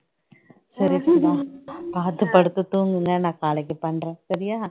சரி சுதா பாத்து படுத்து தூங்கு என்ன, நான் நாளைக்கு பண்றேன் சரியா